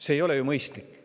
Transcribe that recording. See ei ole ju mõistlik.